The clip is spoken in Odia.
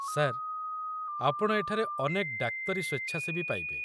ସାର୍, ଆପଣ ଏଠାରେ ଅନେକ ଡାକ୍ତରୀ ସ୍ୱେଚ୍ଛାସେବୀ ପାଇବେ।